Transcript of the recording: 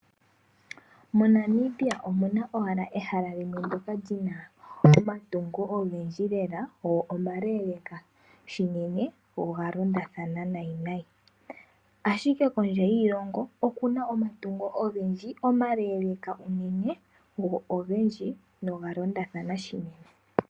MoNanamibia omuna owala ehala limwe ndjoka li na omatungo ogendji lela go maleeleka shinene go oga londathana nayi nayi, ashike kondje yiilongo oku na omatungo ogendji lela go maleeleka unene go ogendji, googa londathana shili.